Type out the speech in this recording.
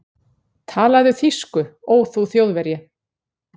Talaðu þýsku, ó þú Þjóðverji!